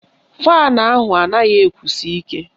Faanụ ahụ anaghị ekusi ike